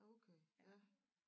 Okay ja